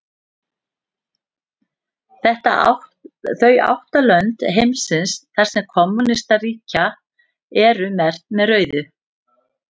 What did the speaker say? Þau átta lönd heimsins þar sem kommúnistar ríkja eru merkt með rauðu.